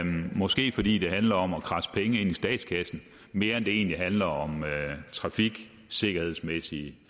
måske fordi det handler om at kradse penge ind i statskassen mere end det egentlig handler om trafiksikkerhedsmæssige